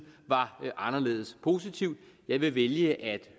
var anderledes positivt jeg vil vælge at